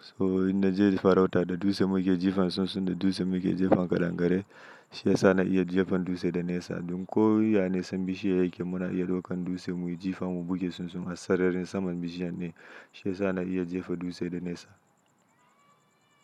So ina je farauta da dutse muke jifan sunsun da dutse muke jifan kaɗangare. Shi yasa na iya jefan dutse da nesa. Duk ko wane san bishiya yake muna iya ɗaukan dutse muyi jifa mu buge sunsun a sararin saman bishiyar ne. Shi yasa na iya jefa dutse da nesa.